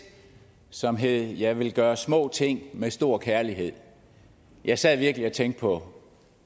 som hed jeg vil gøre små ting med stor kærlighed jeg sad virkelig og tænkte på